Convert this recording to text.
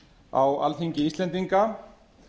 á alþingi íslendinga